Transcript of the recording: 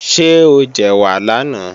Ṣé o jẹ̀wà lánàá?